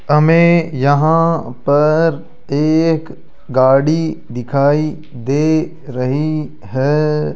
हमें यहां पर एक गाड़ी दिखाई दे रही है।